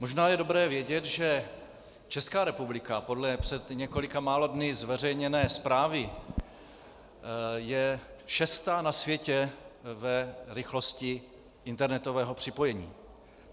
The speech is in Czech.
Možná je dobré vědět, že Česká republika podle před několika málo dny zveřejněné zprávy je šestá na světě v rychlosti internetového připojení.